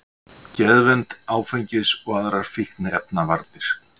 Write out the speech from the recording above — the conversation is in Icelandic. Geðvernd, áfengis- og aðrar fíkniefnavarnir